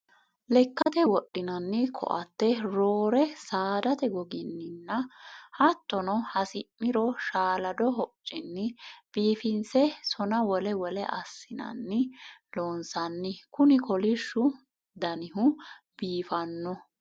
Lekkate wodhinanni koatte roore saadate gogininna hattono hasi'niro shaalado hocuni biifinse sona wole wole assinanni loonsanni kuni kolishshu daniho biifano.